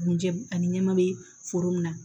Buncɛ ani ɲɛma be foro min na